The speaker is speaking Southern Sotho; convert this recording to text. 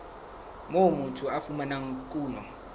moo motho a fumanang kuno